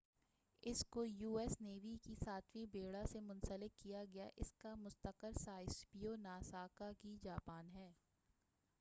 اس کو U S navy کے ساتویں بیڑہ سے منسلک کیا گیا ہے اس کا مستقر سا سیبو ناگاساکی جاپان ہے